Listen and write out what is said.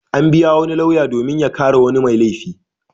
An biya wani lauya domin ya kare wani mai laifi.